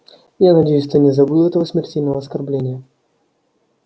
я надеюсь ты не забыл этого смертельного оскорбления